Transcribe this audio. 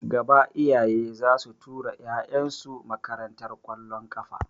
Gaba iyaye zasu ta tura ƴaƴan su makarantar ƙwallon kafa